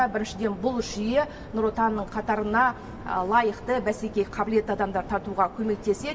біріншіден бұл жүйе нұр отанның қатарына лайықты бәсекеге қабілетті адамдарды тартуға көмектеседі